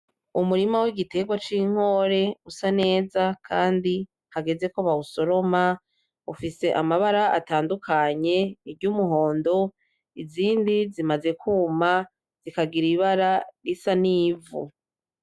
Umurima w'igiterwa c'inkore usa neza kandi hageze ko bawusoroma. Ufise amabara atandukanye, iry'umuhondo izindi zimaze kuma zikagira ibara risa n'ivu.